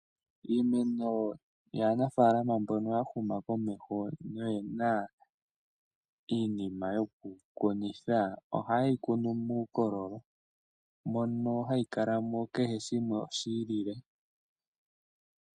Iimeno yaa nafalama mbono ya huma komeho noyena iinima yokukunitha oha yeyi kunu muukololo mono hayi kalamo kehe shimwe oshi liile.